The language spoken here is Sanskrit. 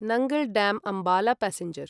Nangal dam Ambala passenger